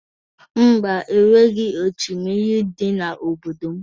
Mba, o nweghị oshimiri dị n'obodo m